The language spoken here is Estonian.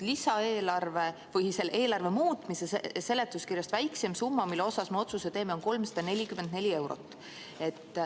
Eelarve muutmise seletuskirjas on väikseim summa, mille kohta me otsuse teeme, 344 eurot.